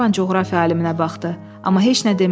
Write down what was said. Qlenarvan coğrafiya aliminə baxdı, amma heç nə demədi.